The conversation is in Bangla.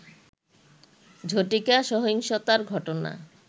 ঝটিকা সহিংসতার ঘটনা